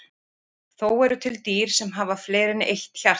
Þó eru til dýr sem hafa fleiri en eitt hjarta.